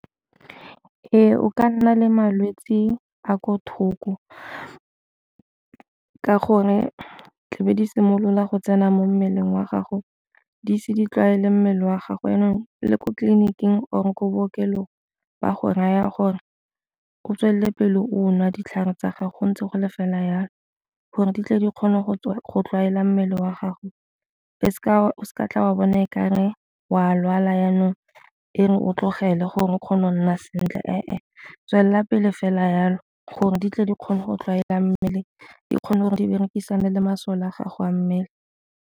Ee, o ka nna le malwetse a ko thoko ka gore tlabe di simolola go tsena mo mmeleng wa gago di se di tlwaele mmele wa gago, jaanong le ko tleliniking or ko bookelong ba go raya gore o tswelele pele o nwa ditlhare tsa gago ntse go le fela jalo gore di tle di kgone go go tlwaela mmele wa gago o seka tla wa bone kare wa a lwala jaanong fa o tlogele gore o kgone go nna sentle. Tswelela pele fela jalo gore di tle di kgone go tlwaela mmele di kgone gore di berekisane le masole a gago a mmele.